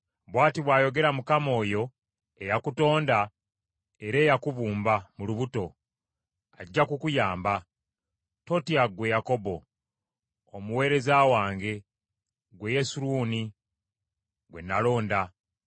Bw’ati bw’ayogera Mukama oyo, eyakutonda era eyakubumba mu lubuto, ajja kukuyamba. Totya ggwe Yakobo, omuweereza wange, ggwe Yesuruni gwe nalonda.